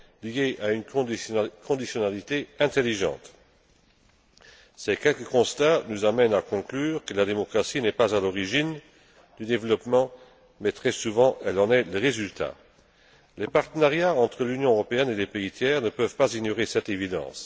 de fond liées à une conditionnalité intelligente. Ces quelques constats nous amènent à conclure que la démocratie n'est pas à l'origine du développement, mais très souvent elle en est le résultat. Les partenariats entre l'Union européenne et les pays tiers ne peuvent pas ignorer cette